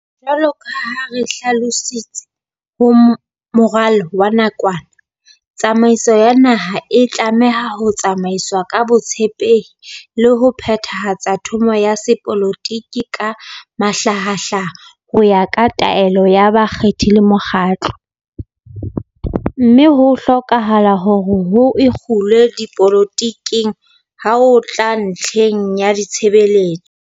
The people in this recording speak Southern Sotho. Jwalo ka ha re hlalositse ho moralo wa nakwana, "tsamaiso ya naha e tlameha ho tsamaiswa ka botshepehi le ho phethahatsa thomo ya sepolotiki ka mahlahahlaha ho ya ka taelo ya bakgethi le mokgatlo, mme ho hlokahala hore ho ikgulwe dipoloti keng ha ho tla ntlheng ya ditshebeletso."